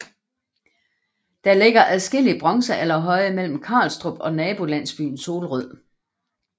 Der ligger adskillige bronzealderhøje mellem Karlstrup og nabolandsbyen Solrød